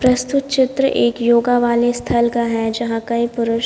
प्रस्तुत चित्र एक योगा वाले स्थल का है जहां कई पुरुष--